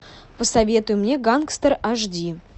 посоветуй мне гангстер аш ди